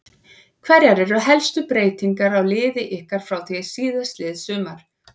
Hverjar eru helstu breytingar á liði ykkar frá því síðastliðið sumar?